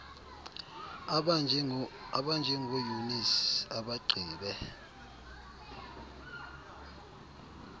abanjengo eunice abagqibe